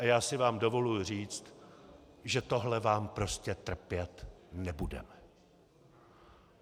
A já si vám dovoluji říct, že tohle vám prostě trpět nebudeme.